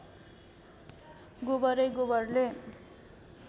गोबरै गोबरले